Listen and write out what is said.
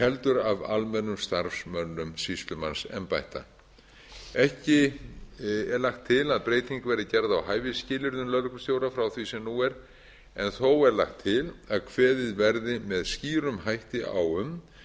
heldur af almennum starfsmönnum sýslumannsembætta ekki er lagt til að hæfisbreyting verði gerð á hæfisskilyrðum lögreglustjóra frá því sem nú er en þó er lagt til að kveðið verði með skýrum hætti á um